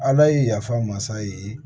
Ala ye yafa masa ye